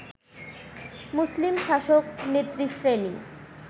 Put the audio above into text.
মুসলিম শাসক নেতৃশ্রেণী